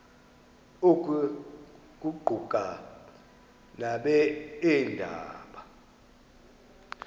oku kuquka nabeendaba